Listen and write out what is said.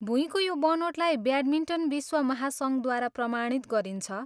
भुइँको यो बनोटलाई ब्याटमिन्टन विश्व महासङ्घद्वारा प्रमाणित गरिन्छ।